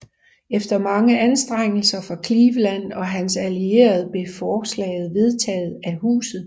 Efter mange anstrengelser fra Cleveland og hans allierede blev forslaget vedtaget af Huset